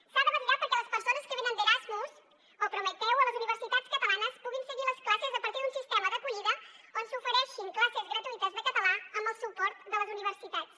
s’ha de vetllar perquè les persones que venen d’erasmus o prometeu a les universitats catalanes puguin seguir les classes a partir d’un sistema d’acollida on s’ofereixin classes gratuïtes de català amb el suport de les universitats